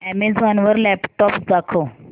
Amazon वर laptops दाखव